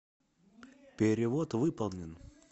перевод выполнен